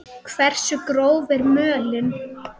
Hversu gróf er mölin?